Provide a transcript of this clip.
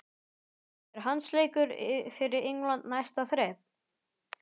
Er landsleikur fyrir England næsta þrep?